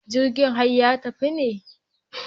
Jirgin har ya tafi ne?